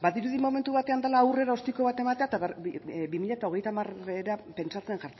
badirudi momentu batean dela aurrera ostiko bat ematea eta bi mila hogeita hamarra pentsatzen